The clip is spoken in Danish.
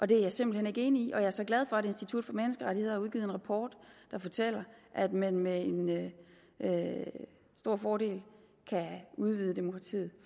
det er jeg simpelt hen ikke enig i og jeg er så glad for at institut for menneskerettigheder har udgivet en rapport der fortæller at man med med stor fordel kan udvide demokratiet